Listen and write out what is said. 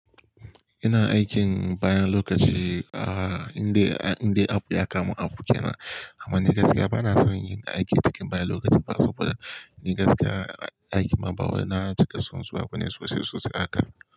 Ina aikin bayan lokaci, ah, indai, indai abu ya kama abu kenan. Amma ni gaskiya bana son yin aikin cikin bayan lokaci ba saboda ni gaskiya aikin ma ba wai na cika son zuwa bane sosai sosai.